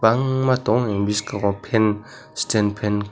tangma tong mani bwskango fan stand fan.